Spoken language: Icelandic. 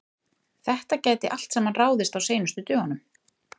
Þetta gæti allt saman ráðist á seinustu dögunum.